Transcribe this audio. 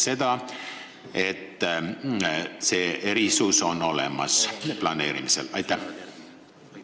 Need erisused planeerimisel on ju olemas.